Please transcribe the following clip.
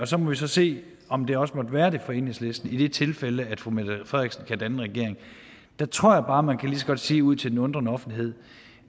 så må vi så se om det også måtte være det for enhedslisten i det tilfælde at fru mette frederiksen kan danne en regering der tror jeg bare man kan sige ud til den undrende offentlighed